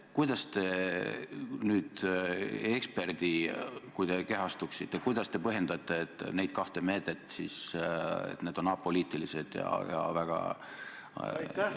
Kui te kehastuksite eksperdiks, siis kuidas te põhjendaksite, et need kaks meedet on apoliitilised ja väga asjatundlikud?